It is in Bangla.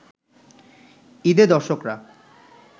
ঈদে দর্শকরা